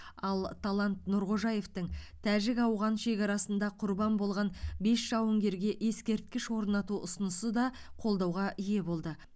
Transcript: ал талант нұрғожаевтың тәжік ауған шекарасында құрбан болған бес жауынгерге ескерткіш орнату ұсынысы да қолдауға ие болды